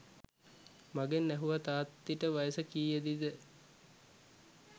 මගෙන් ඇහැව්වා තාත්ති ට වයස කියේදි ද